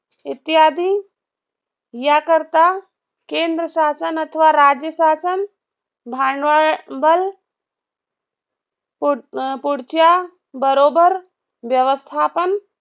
इत्यादी या करता केंद्र शासन अथवा राज्य शासन भांडवल पुढच्या बरोबर व्यवस्थापन